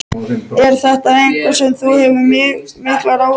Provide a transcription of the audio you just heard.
Er þetta eitthvað sem þú hefur miklar áhyggjur af?